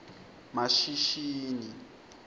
mashishini